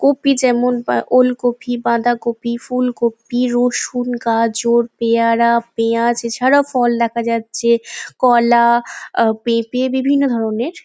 Copy যেমন আ ওলকপি বাঁধাকপি ফুলকপি রসুন গাজর পেয়ারা পেঁয়াজ এছাড়াও ফল দেখা যাচ্ছে কলা আহ পেঁপে বিভিন্ন ধরণের।